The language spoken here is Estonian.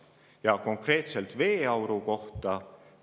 Ja konkreetselt veeauru kohta.